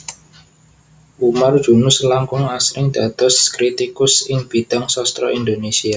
Umar Junus langkung asring dados kritikus ing bidhang sastra Indonesia